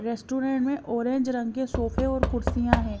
Restaurant में orange रंग के सोफे और कुर्सियां हैं।